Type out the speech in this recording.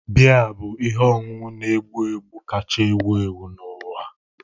Biya bụ ihe ọṅụṅụ na-egbu egbu kacha ewu ewu n'ụwa.